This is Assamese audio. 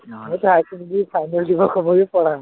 মই যে higher secondary final দিব কবই পৰা নাই।